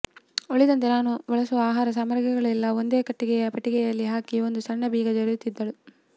ಉಳಿದಂತೆ ತಾನು ಬಳಸುವ ಆಹಾರ ಸಾಮಗ್ರಿಗಳನ್ನೆಲ್ಲ ಒಂದು ಕಟ್ಟಿಗೆಯ ಪೆಟ್ಟಿಗೆಯಲ್ಲಿ ಹಾಕಿ ಒಂದು ಸಣ್ಣ ಬೀಗ ಜಡೆದಿರುತ್ತಿದ್ದಳು